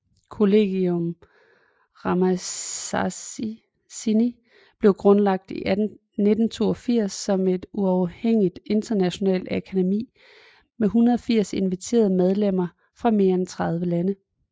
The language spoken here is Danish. Collegium Ramazzini blev grundlagt i 1982 som et uafhængigt internationalt akademi med 180 inviterede medlemmer fra mere end 30 lande